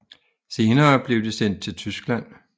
Senere blev de sendt til Tyskland